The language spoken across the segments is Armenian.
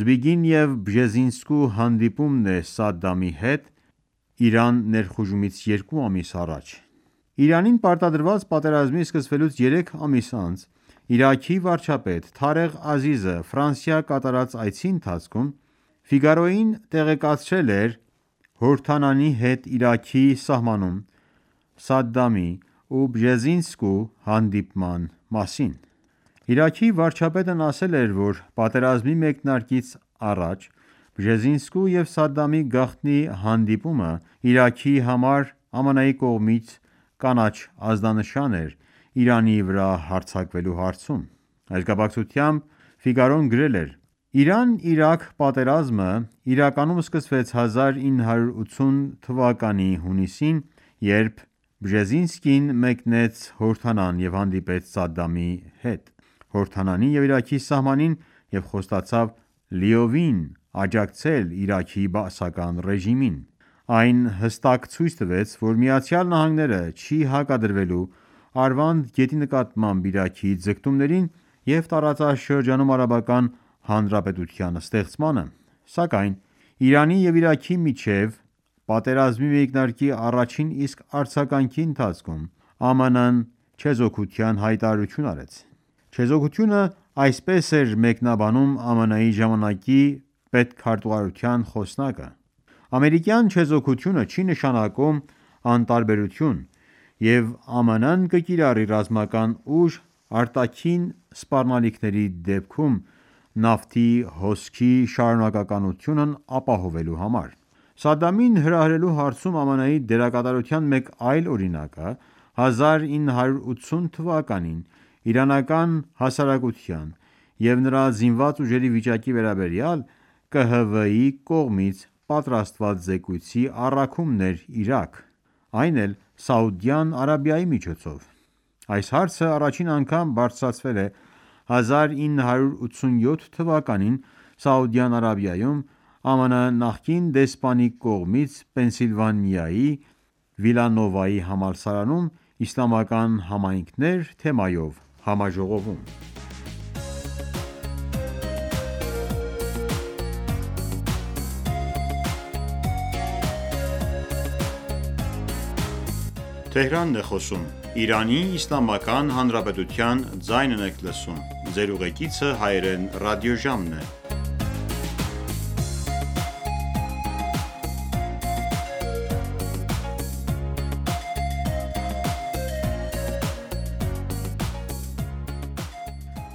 Զբիգնև Բժեզինսկու հանդիպումն է Սադամի հետ Իրան ներխուժումից երկու ամիս առաջ։ Իրանին պարտադրված պատերազմի սկսվելուց երեք ամիս անց Իրաքի վարչապետ Թարեղ Ազիզը Ֆրանսիա կատարած այցի ընթացքում «Ֆիգարոյին» տեղեկացրել էր Հորդանանի հետ Իրաքի սահմանին Սադդամի ու Բժեզինսկու հանդիպման մասին: Իրաքի վարչապետն ասել է, որ պատերազմի մեկնարկից առաջ Բժեզինսկու եւ Սադամի գաղտնի հանդիպումը Իրաքի համար ԱՄՆ-ի կողմից կանաչ ազդանշան էր Իրանի վրա հարձակվելու համար։ Այս կապակցությամբ «Ֆիգարոն» գրել էր.«Իրան-Իրաքյ պատերազմն իրականում սկսվեց 1980 թվականի հունիսին, երբ Բժեզինսկին մեկնեց Հորդանան և հանդիպեց Սադամի հետ Հորդանանի և Իրաքի սահմանին և խոստացավ լիովին աջակցել Սադամին»: «Այն հստակ ցույց տվեց, որ Միացյալ Նահանգները չի հակադրվելու Արվանդ գետի նկատմամբ Իրաքի ձգտումներին և տարածաշրջանում արաբական հանրապետության ստեղծմանը»: Սակայն Իրանի և Իրաքի միջև պատերազմի մեկնարկի առաջին իսկ արձագանքի ընթացքում ԱՄՆ-ը չեզոքության հայտարարություն արեց։ Չեզոքությունը այսպես էր մեկնաբանում ԱՄՆ-ի ժամանակի պետքարտուղարության խոսնակը.«Ամերիկյան չեզոքությունը չի նշանակում անտարբերություն, և ԱՄՆ-ն կկիրառի ռազմական ուժ՝ արտաքին սպառնալիքների դեպքում նավթի հոսքի շարունակականությունն ապահովելու համար»: Սադդամին հրահրելու հարցում ԱՄՆ-ի դերակատարության մեկ այլ օրինակը 1980 թվականին իրանական հասարակության և նրա զինված ուժերի վիճակի վերաբերյալ ԿՀՎ-ի կողմից պատրաստված զեկույցի առաքումն էր Իրաք, այն էլ, Սաուդյան Արաբիայի միջոցով: Այս հարցը առաջին անգամ բարձրացվել է 1987 թվականին Սաուդյան Արաբիայում ԱՄՆ նախկին դեսպանի կողմից Փենսիլվանիայի Վիլանովայի համալսարանում «Իսլամական համայնքներ» թեմայով համաժողովում։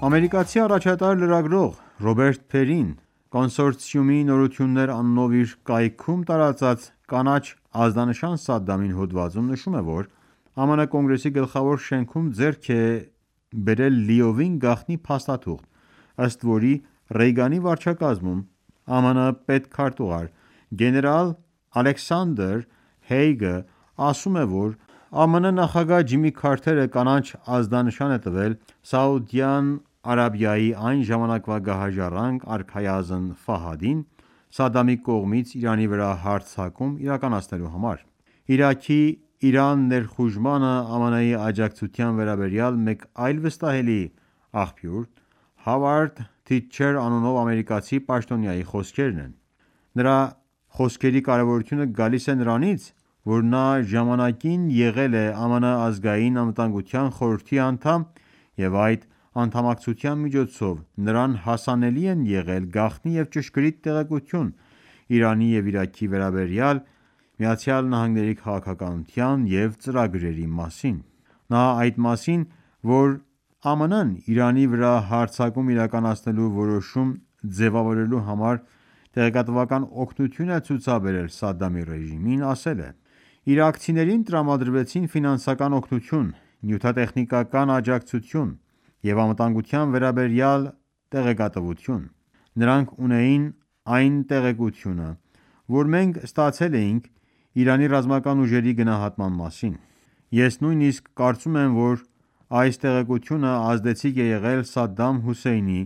Ամերիկացի առաջատար լրագրող Ռոբերտ Փերին «Կոնսորցիումի նորություններ» անունով իր կայքում տարածած «Կանաչ ազդանշան Սադամին» հոդվածում նշում է, որ ԱՄՆ Կոնգրեսի գլխավոր շենքում ձեռք է բերել «լիովին գաղտնի» փաստաթուղթ, ըստ որի, Ռեյգանի վարչակազմում ԱՄՆ պետքարտուղար գեներալ Ալեքսանդրի Հեյգը ասում է, որ ԱՄՆ նախագահ Ջիմի Քարթերը կանաչ ազդանշան է տվել Սաուդյան Արաբիայի այն ժամանակվա գահաժառանգ արքայազն Սադամի կողմից Իրանի վրա հարձակում իրականանցելու համար: Իրաքի Իրան ներխուժմանը ԱՄՆ-ի աջակցության վերաբերյալ մեկ այլ վստահելի աղբյուր Հավարդ Թիտչեր անունով ամերիկացի պաշտոնյայի խոսքերն են: Նրա խոսքերի կարևորությունը գալիս է նրանից, որ նա ժամանակին եղել է ԱՄՆ Ազգային անվտանգության խորհրդի անդամ, և այդ անդամակցության միջոցով նրան հասանելի են եղել գաղտնի և ճշգրիտ տեղեկատվություն Իրանի և Իրաքի վերաբերյալ ԱՄՆ քաղաքականության և ծրագրերի մասին: Նա այն մասին, որ ԱՄՆ-ն Իրանի վրա հարձակում իրականացնելու որոշում ձևավորելու համար տեղեկատվական օգնություն է ցուցաբերել Սադդամի ռեժիմին, ասել է.«Իրաքցիներին տրամադրվեցին ֆինանսական օգնություն, նյութատեխնիկական աջակցություն և անվտանգության վերաբերյալ տեղեկատվություն: Նրանք ունեին այն տեղեկությունը, որը մենք ստացել էինք Իրանի ռազմական ուժերի գնահատման մասին։ Ես նույնիսկ կարծում եմ, որ այս տեղեկությունը ազդեցիկ է եղել Սադամ Հոսեյնի՝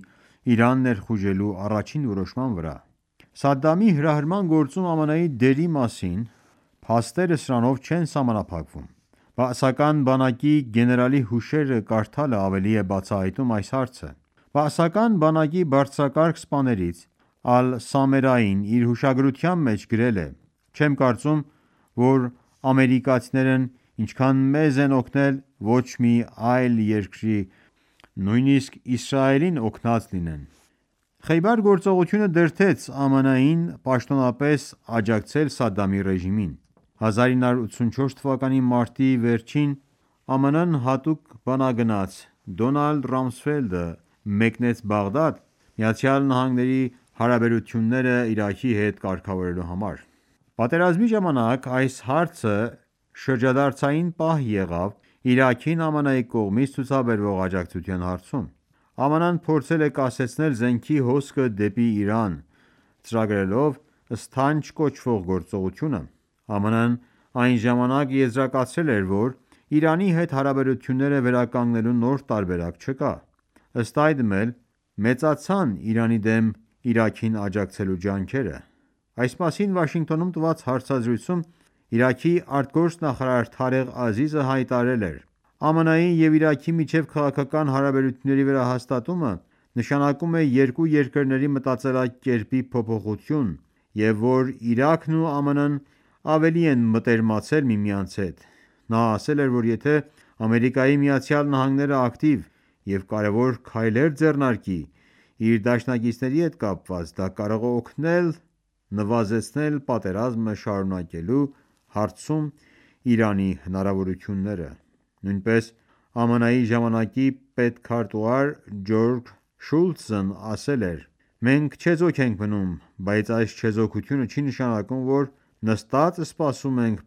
Իրան ներխուժելու առաջին որոշման վրա»։ Սադամի հրահրման գործում ԱՄՆ-ի դերի մասին փաստերը սրանով չեն սահմանափակվում: Բաասական բանակի գեներալի հուշերը կարդալը ավելի է բացահայտում այս հարցը: Բաասական բանակի բարձրակարգ սպաներից Ալ-Սամերային իր հուշագրության մեջ գրել է.«Չեմ կարծում, որ ամերիկացիներն ինչքան մեզ են օգնել, ոչ մի այլ երկրի, նույնիսկ Իսրայելին օգնած լինեն»։ Խեյբար գործողությունը դրդեց ԱՄՆ-ին պաշտոնապես աջակցել Սադամի ռեժիմին: 1984 թվականի մարտի վերջին ԱՄՆ հատուկ բանագնաց Դոնալդ Ռամսֆելդը մեկնեց Բաղդադ՝ ԱՄՆ հարաբերությունները Իրաքի հետ կարգավորելու համար։ Պատերազմի ժամանակ, այս այցը շրջադարձային պահ եղավ Իրաքին ԱՄՆ-ի կողմից ցուցաբերվող աջակցության հարցում: ԱՄՆ-ը փորձել է կասեցնել զենքի հոսքը դեպի Իրան՝ ծրագրելով «Սթանչ» կոչվող գործողությունը։ ԱՄՆ-ն այն ժամանակ եզրակացրել էր, որ Իրանի հետ հարաբերությունները վերականգնելու նոր տարբերակ չկա։ Ըստ այդմ էլ, մեծացան Իրանի դեմ Իրաքին աջակցելու ջանքերը։ Այս մասին Վաշինգտոնում տված հարցազրույցում Իրաքի արտգործնախարար Թարեղ Ազիզը հայտարարել էր.«ԱՄՆ-ի և Իրաքի միջև քաղաքական հարաբերությունների վերահաստատումը նշանակում է երկու երկրների մտածելակերպի փոփոխություն, և որ Իրաքն ու ԱՄՆ-ն ավելի են մտերմացել միմյանց հետ»։ Նա ասել էր, որ եթե ԱՄՆ-ն ակտիվ և կարևոր քայլեր ձեռնարկի իր դաշնակիցների հետ կապված, դա կարող է օգնել նվազեցնել պատերազմը շարունակելու հարցում Իրանի հնարավորությունները։ Նույնպես ԱՄՆ-ի ժամանակի պետքարտուղար Ջորջ Շուլթզն էլ ասել էր.«Մենք չեզոք ենք մնում, բայց այս չեզոքությունը չի նշանակում, որ նստած սպասում ենք